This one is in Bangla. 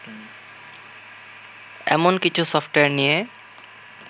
এমন কিছু সফটওয়্যার নিয়ে